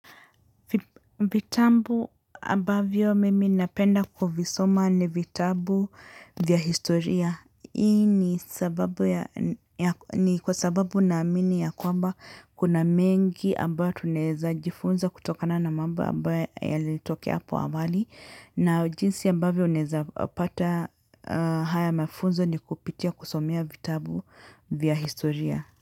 Vitabu ambavyo mimi napenda kuvisoma ni vitabu vya historia. Hii ni kwa sababu naamini ya kwamba kuna mengi ambayo tunaeza jifunza kutokana na mambo ambayo yalitokea hapo awali. Na jinsi ambavyo unaeza pata haya mafunzo ni kupitia kusomea vitabu vya historia.